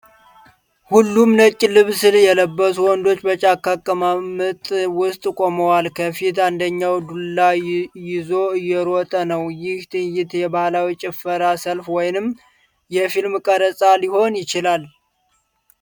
ሁሉም ነጭ ልብስ የለበሱ ወንዶች በጫካ አቀማመጥ ውስጥ ቆመዋል። ከፊት አንደኛው ዱላ ይዞ እየሮጠ ነው። ይህ ትዕይንት የባህላዊ ጭፈራ፣ ሰልፍ ወይንም የፊልም ቀረጻ ሊሆን ይችላል?